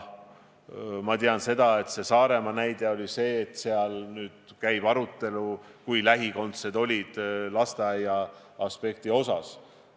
Ma tean, et selle Saaremaa näitega seoses käib nüüd arutelu lähikondsete ja lasteaiaaspekti osas.